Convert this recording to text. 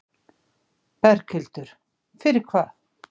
Berghildur: Fyrir hvað?